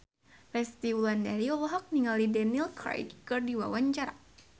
Resty Wulandari olohok ningali Daniel Craig keur diwawancara